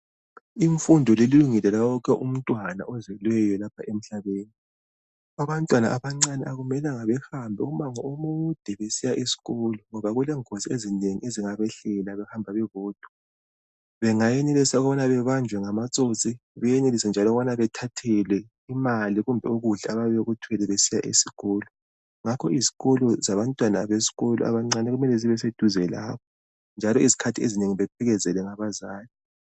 Imfundo likungelo lawonke umntwana ozelweyo lapha emhlabeni. Abantwana abancane akumelanga behambe umango omude besiya esikolo ngoba kulengozi ezinengi ezingabehlela behamba bebodwa . Bengayenelisa ukubana bebanjwe ngamatsotsi beyenelise njalo ukubana bethathelwe imali kumbe ukudla abayabe bekuthwele besiya esikolo ngakho izikolo zabo kufanele zibe seduzane njalo bephelekezelwe ngabazali izikhathi ezinengi.